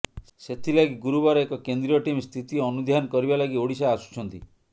ସେଥିଲାଗି ଗୁରୁବାର ଏକ କେନ୍ଦ୍ରୀୟ ଟିମ୍ ସ୍ଥିତି ଅନୁଧ୍ୟାନ କରିବା ଲାଗି ଓଡ଼ିଶା ଆସୁଛନ୍ତି